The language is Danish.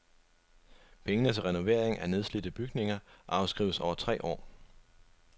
Pengene til renovering af nedslidte bygninger afskrives over tre år.